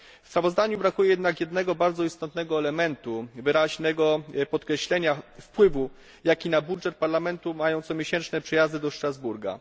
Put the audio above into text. W sprawozdaniu brakuje jednak jednego bardzo istotnego elementu wyraźnego podkreślenia wpływu, jaki na budżet Parlamentu mają comiesięczne przejazdy do Strasburga.